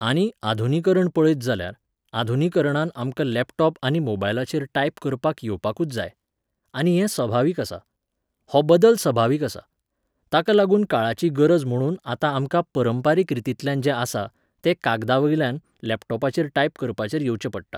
आनी आधुनीकरण पळयत जाल्यार, आधुनीकरणान आमकां लॅपटॉप आनी मोबायलाचेर टायप करपाक येवपाकूच जाय. आनी हें सभावीक आसा. हो बदल सभावीक आसा. ताका लागून काळाची गरज म्हुणून आतां आमकां पारंपारीक रितींतल्यान जें आसा, तें कागदावयल्यान लॅपटॉपाचेर टायप करपाचेर येवचें पडटा.